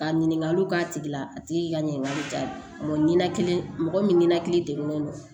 Ka ɲininkaliw k'a tigi la a tigi ka ɲininkali jala mɔgɔ ɲɛnan mɔgɔ minaki degunnen don